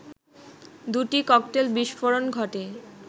দুটি ককটেল বিস্ফোরণ ঘটে